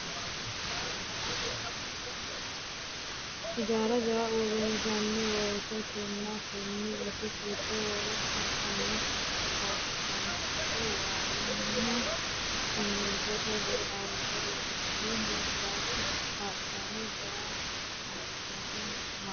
Hijaara jawa uurinsanni woyte kina kone isi giddo worre cancane fafance waayinna simintote ledo xaadinse loonsanni horonsirate kaa'littano jawa kaajjado maashineti